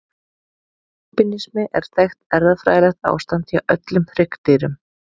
Albínismi er þekkt erfðafræðilegt ástand hjá öllum hryggdýrum.